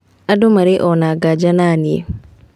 Andũ marĩ ona nganja naniĩ